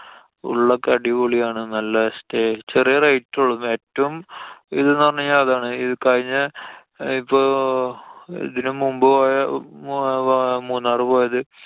ഉള്ളൊക്കെ അടിപൊളി ആണ്. നല്ല stay. ചെറിയ rate ഒള്ളൂ. ഏറ്റവും ഇത് ന്നു പറഞ്ഞു കഴിഞ്ഞാല്‍ അതാണ്‌. കഴിഞ്ഞ ഇപ്പോ~ ഇതിനു മുമ്പു പോയ മൂന്നാറ് പോയത്